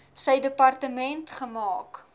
sy departement gemaak